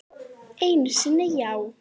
Einu sinni, já.